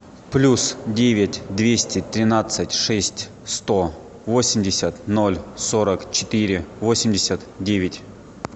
плюс девять двести тринадцать шесть сто восемьдесят ноль сорок четыре восемьдесят девять